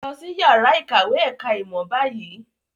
Lọ sí ìyàrá-ìkàwé ẹ̀ka-ìmọ̀ báyìí!